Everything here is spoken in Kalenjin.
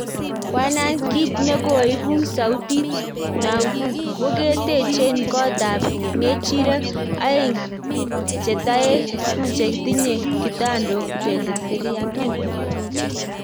Wahan-kit nekoipung sautit nana ko ketenje kot ap ngerjek aeng cheng taeng cheng tinye kitandok 2300